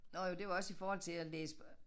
Nåh jo det var også i forhold til at læse